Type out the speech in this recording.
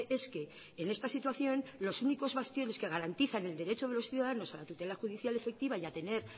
es que en esta situación los únicos bastiones que garantizan el derecho de los ciudadanos a la tutela judicial efectiva y a tener